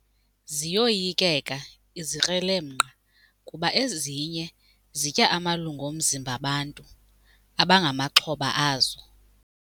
Ziyoyikeka izikrelemnqa kuba ezinye zitya amalungu omzimba bantu abangamaxhoba azo.